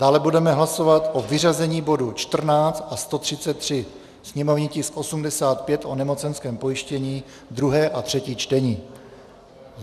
Dále budeme hlasovat o vyřazení bodů 14 a 133, sněmovní tisk 85, o nemocenském pojištění, 2. a 3. čtení.